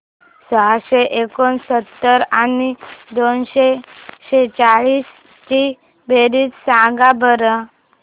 सहाशे एकोणसत्तर आणि दोनशे सेहचाळीस ची बेरीज सांगा बरं